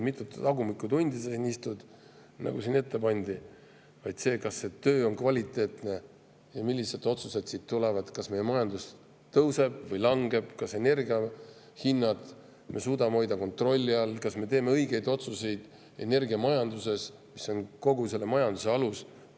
Mitte seda, mitu tagumikutundi siin istutakse, nagu siin ette pandi, vaid seda, kas see töö on kvaliteetne ja millised otsused siit tulevad: kas meie majandus tõuseb või langeb, kas me suudame energia hinnad kontrolli all hoida, kas me teeme õigeid otsuseid energiamajanduses, mis on kogu majanduse alus.